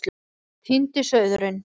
Týndi sauðurinn